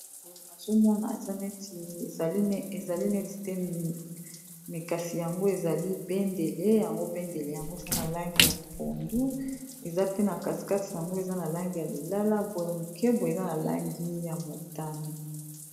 Boye nazomona eza neti ezali neti te me kasi yango ezali bendele yango bendele yango eza na langi ya pondu eza pe na kati kati nango eza na langi ya lilala boye moke boye eza na langi ya motani.